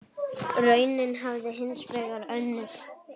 Raunin hafi hins vegar önnur.